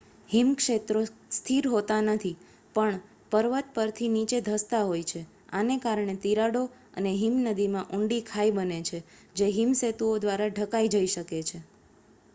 હિમક્ષેત્રો સ્થિર હોતાં નથી પણ પર્વત પરથી નીચે ધસતાં હોય છે આને કારણે તિરાડો અને હિમનદીમાં ઊંડી ખાઈ બને છે જે હિમ સેતુઓ દ્વારા ઢંકાઈ જઈ શકે છે